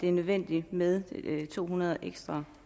er nødvendigt med to hundrede ekstra